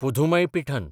Pudhumaipithan